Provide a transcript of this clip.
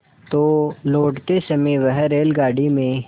तो लौटते समय वह रेलगाडी में